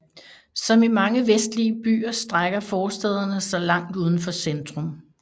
Som i mange vestlige byer strækker forstæderne sig langt uden for centrum